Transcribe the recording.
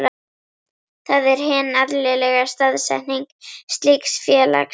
Það er hin eðlilega staðsetning slíks félags.